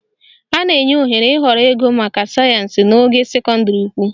A na-enye ohere ịhọrọ ịgụ maka sayensị n'ogo sekọndịrị ukwu